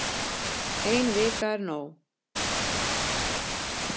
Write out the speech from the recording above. Ein vika er nóg